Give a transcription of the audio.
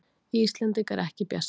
Íslendingar ekki bjartsýnir